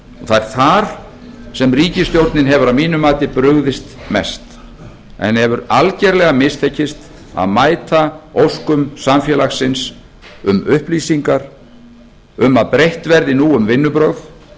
það er þar sem ríkisstjórnin hefur að mínu mati brugðist mest að henni hefur algerlega mistekist að mæta óskum samfélagsins um upplýsingar um að breytt verði nú um vinnubrögð